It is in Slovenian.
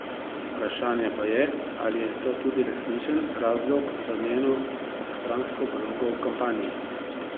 Vprašanje pa je, ali je to tudi resničen razlog za njeno obstransko vlogo v kampanji.